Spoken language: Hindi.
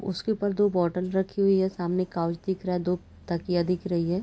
उसके ऊपर दो बोतल रखे हुए हैं सामने काउच दिख रहा है दो तकिया दिख रही है।